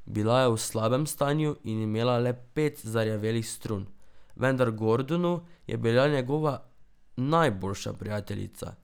Bila je v slabem stanju in imela le pet zarjavelih strun, vendar Gordonu je bila njegova najboljša prijateljica.